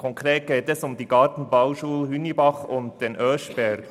Konkret geht es um die Gartenbauschulen Hünibach und Oeschberg.